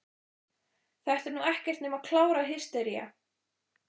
Þetta er nú ekkert nema klára hystería!